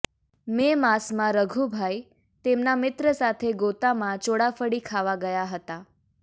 મે માસમાં રઘુભાઇ તેમના મિત્ર સાથે ગોતામાં ચોળાફળી ખાવા ગયા હતા